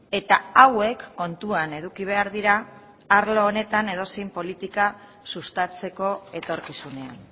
eta hauek kontuan eduki behar dira arlo honetan edozein politika sustatzeko etorkizunean